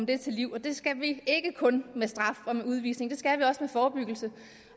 det til livs det skal vi ikke kun med straf og med udvisning det skal vi også forebyggelse